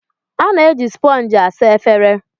A na-eji spongi ịsa efere